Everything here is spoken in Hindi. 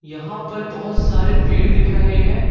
यहां पर बहुत सारे पेड़ दिख रहे हैं।